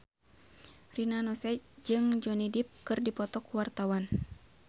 Rina Nose jeung Johnny Depp keur dipoto ku wartawan